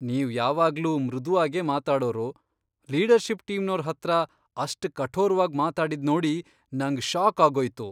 ನೀವ್ ಯಾವಾಗ್ಲೂ ಮೃದುವಾಗೇ ಮಾತಾಡೋರು ಲೀಡರ್ಷಿಪ್ ಟೀಮ್ನೋರ್ ಹತ್ರ ಅಷ್ಟ್ ಕಠೋರ್ವಾಗ್ ಮಾತಾಡಿದ್ನೋಡಿ ನಂಗ್ ಷಾಕ್ ಆಗೋಯ್ತು.